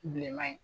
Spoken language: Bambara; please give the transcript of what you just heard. Bilenman in